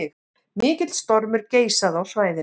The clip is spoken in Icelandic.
Mikill stormur geisaði á svæðinu